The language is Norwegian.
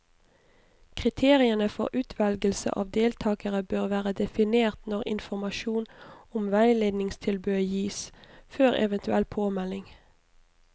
Kriteriene for utvelgelse av deltakere bør være definert når informasjon om veiledningstilbudet gis, før eventuell påmelding.